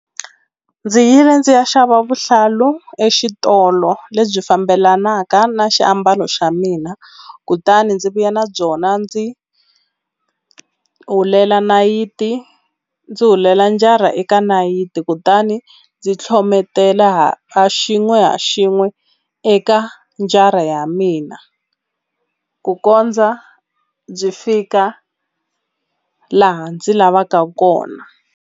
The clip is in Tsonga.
Ndzi yile ndzi ya xava vuhlalu exitolo lebyi fambelanaka na xiambalo xa mina kutani ndzi vuya na byona ndzi hulela nayiti ndzi hulela njani ra eka nayiti kutani ndzi tlhometela ha xin'we ha xin'we eka njara ya mina ku kondza byi fika laha ndzi lavaka kona.